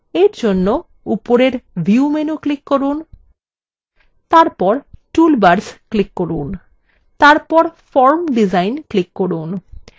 এর জন্য উপরের view menu click করুন তারপর toolbars click করুন তারপর form ডিজাইন click করুন